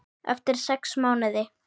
Eftir sex mánuði.